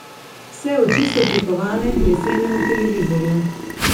Vse oči so prikovane k lesenemu televizorju.